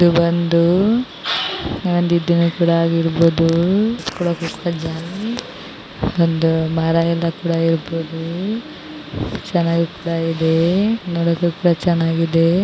ಇದು ಬಂದು ಒಂದು ಮರ ಕೂಡ ಇರ್ಬಹುದು ನೋಡಕ್ಕೂ ಕೂಡ ಚೆನ್ನಾಗಿದೆ.